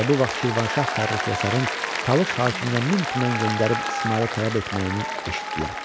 Elə bu vaxt Şirvanşah Fərrux Yasarın Talış hakiminə min tümən göndərib İsmayılı tələb etməyini eşitdilər.